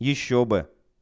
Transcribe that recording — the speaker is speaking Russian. ещё бы